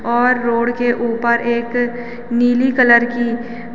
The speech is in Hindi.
और रोड के ऊपर एक नीली कलर की --